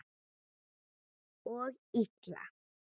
Og illa.